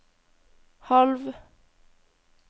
halv